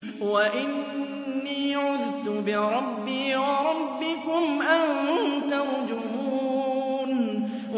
وَإِنِّي عُذْتُ بِرَبِّي وَرَبِّكُمْ أَن تَرْجُمُونِ